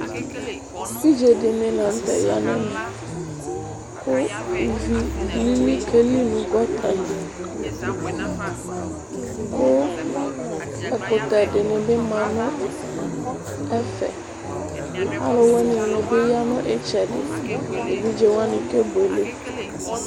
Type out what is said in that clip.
evidze di ni lantɛ ya n'ɛmɛ kò ivi lili ke li no gɔta li kò ɛkutɛ di ni bi ma no ɛfɛ alòwini ni bi ya no itsɛdi evidze wani ke buele.